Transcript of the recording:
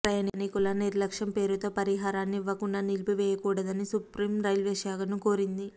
ప్రయాణీకుల నిర్లక్ష్యం పేరుతో పరిహరాన్ని ఇవ్వకుండా నిలిపివేయకూడదని సుప్రీం రైల్వేశాఖను కోరింది